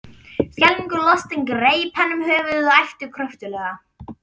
Skelfingu lostinn greip hann um höfuðið og æpti kröftuglega.